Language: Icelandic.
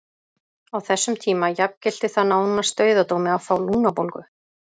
Á þessum tíma jafngilti það nánast dauðadómi að fá lungnabólgu.